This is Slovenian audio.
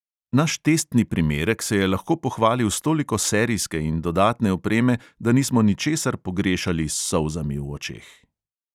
Naš testni primerek se je lahko pohvalil s toliko serijske in dodatne opreme, da nismo ničesar pogrešali s solzami v očeh.